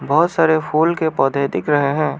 बहुत सारे फूल के पौधे दिख रहे हैं।